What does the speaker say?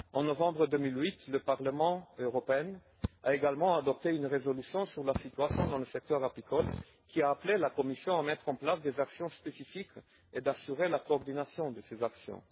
En novembre 2008, le Parlement européen a également adopté une résolution sur la situation dans le secteur apicole qui a appelé la Commission à mettre en place des actions spécifiques et à assurer la coordination de ces actions.